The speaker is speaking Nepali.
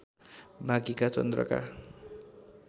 बाँकीका चन्द्रका